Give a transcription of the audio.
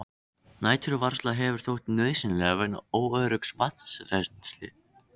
Næturvarsla hefur þótt nauðsynleg vegna óöruggs vatnsrennslis.